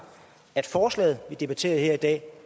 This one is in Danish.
at forslaget vi debatterer her i dag